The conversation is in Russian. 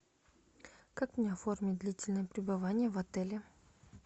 как мне оформить длительное пребывание в отеле